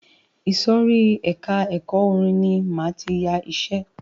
Ìsòrí ẹka ẹ̀kọ́ orin ní máa tí yá iṣẹ.